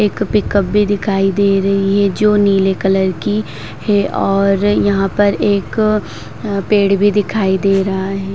एक पिक-अप भी दिखाई दे रही है जो नीले कलर की है और यहाँ पर एक पेड़ भी दिखाई दे रहा है।